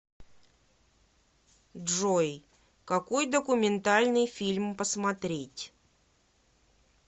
джой какой документальный фильм посмотреть